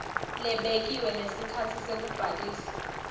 lebekiwe ngesikhatsi sekubhalisa